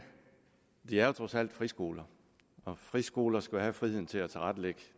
de er jo trods alt friskoler og friskoler skal have friheden til at tilrettelægge